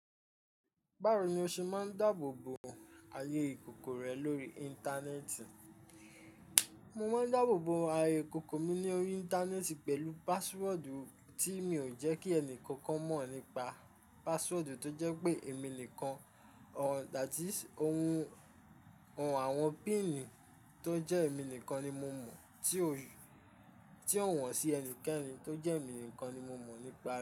Báwo ni o ṣe máa ń dáàbòbo ayé ìkòkò rẹ lórí Íńtánẹ́ẹ̀tì? Mo máa ń dáàbòbo ayé ìkòkò mi lórí Íńtánẹ́ẹ̀tì pẹ̀lú pasiwọ́ọ̀dù tí mi ò jẹ́ kí ẹnì kankan mọ̀ nípa pasiwọ́ọ̀dù tó jẹ́ pé èmi nìkan àti ohun àwọn píìnì tó jẹ́ èmi nìkan ni mo mọ̀ tí ó wọ̀n sí ẹnikẹ́ni tó jẹ́ èmi nìkan ni mo mọ̀ nípa rẹ.